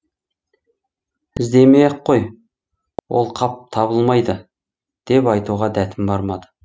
іздемей ақ қой ол қап табылмайды деп айтуға дәтім бармады